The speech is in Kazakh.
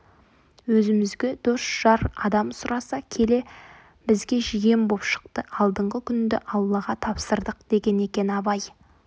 өзімізге дос-жар адам сұраса келе бізге жиен боп шықты алдыңғы күнді аллаға тапсырдық деген екен абай